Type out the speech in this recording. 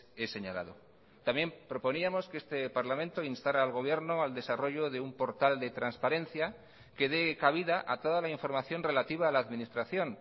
he señalado también proponíamos que este parlamento instara al gobierno al desarrollo de un portal de transparencia que dé cabida a toda la información relativa a la administración